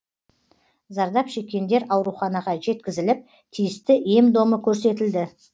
зардап шеккендер ауруханаға жеткізіліп тиісті ем домы көрсетілді